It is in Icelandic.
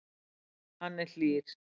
Hann er hlýr.